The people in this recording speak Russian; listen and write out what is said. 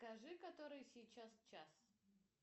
скажи который сейчас час